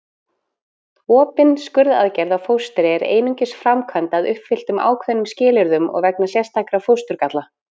Opin skurðaðgerð á fóstri er einungis framkvæmd að uppfylltum ákveðnum skilyrðum og vegna sérstakra fósturgalla.